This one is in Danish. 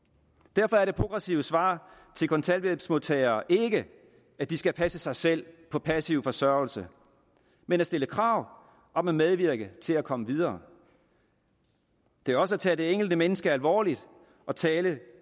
derfor er det progressive svar til kontanthjælpsmodtagere ikke at de skal passe sig selv på passiv forsørgelse men at stille krav om at medvirke til at komme videre det er også at tage det enkelte menneske alvorligt at tale